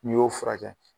N'i y'o furakɛ